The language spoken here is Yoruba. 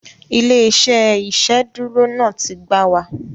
Ilé-iṣẹ́ iṣeduro náà tí gbáà wa